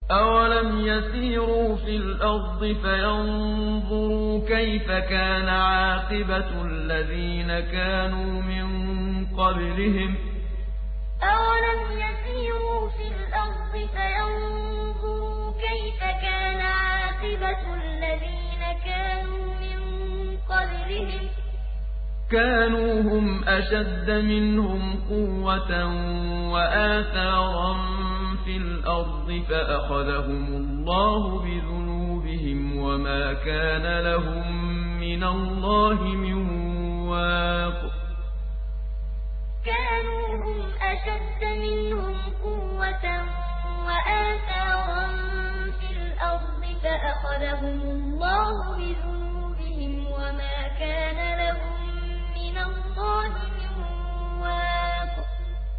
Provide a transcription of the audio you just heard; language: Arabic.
۞ أَوَلَمْ يَسِيرُوا فِي الْأَرْضِ فَيَنظُرُوا كَيْفَ كَانَ عَاقِبَةُ الَّذِينَ كَانُوا مِن قَبْلِهِمْ ۚ كَانُوا هُمْ أَشَدَّ مِنْهُمْ قُوَّةً وَآثَارًا فِي الْأَرْضِ فَأَخَذَهُمُ اللَّهُ بِذُنُوبِهِمْ وَمَا كَانَ لَهُم مِّنَ اللَّهِ مِن وَاقٍ ۞ أَوَلَمْ يَسِيرُوا فِي الْأَرْضِ فَيَنظُرُوا كَيْفَ كَانَ عَاقِبَةُ الَّذِينَ كَانُوا مِن قَبْلِهِمْ ۚ كَانُوا هُمْ أَشَدَّ مِنْهُمْ قُوَّةً وَآثَارًا فِي الْأَرْضِ فَأَخَذَهُمُ اللَّهُ بِذُنُوبِهِمْ وَمَا كَانَ لَهُم مِّنَ اللَّهِ مِن وَاقٍ